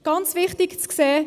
Ganz wichtig zu sehen: